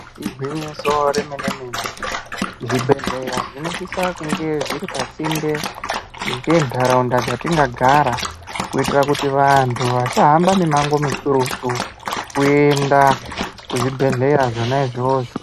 Igwinyiso remene mene zvibhedhleya zvinosisa kunge zviri pasinde ngentaraunda dzatinogara kuitira kuti vantu vasahamba mumango mukurutu kuenda kuzvibhedhleya zvona izvozvo.